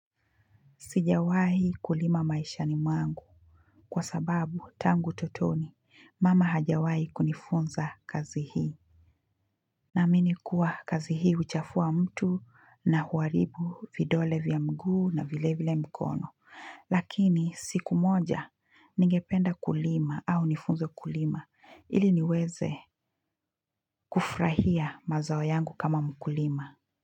Sijawahi kulima maisha ni mwangu kwa sababu tangu utotoni mama hajawahi kunifunza kazi hii. Naaminikuwa kazi hii huchafua mtu na huahribu vidole vya mguu na vile vile mkono. Lakini siku moja ningependa kulima au nifunzwe kulima ili niweze kufurahia mazao yangu kama mkulima.